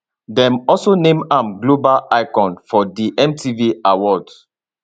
dem also name am global icon for di mtv awards